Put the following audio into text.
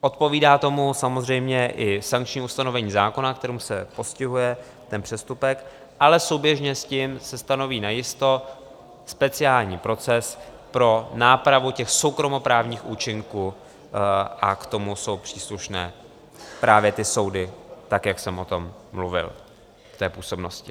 Odpovídá tomu samozřejmě i sankční ustanovení zákona, kterým se postihuje ten přestupek, ale souběžně s tím se stanoví najisto speciální proces pro nápravu těch soukromoprávních účinků a k tomu jsou příslušné právě ty soudy, tak jak jsem o tom mluvil v té působnosti.